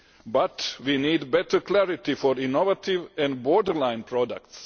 But we need better clarity for innovative and borderline products.